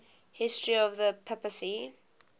history of the papacy